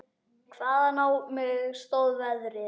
Hvaðan á mig stóð veðrið.